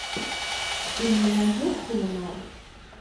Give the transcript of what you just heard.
ты мне найдешь криминал